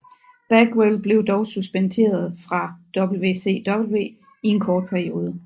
Bagwell blev dog suspenderet fra WCW i en kort periode